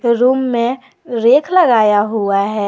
Room में रेख लगाया हुआ है।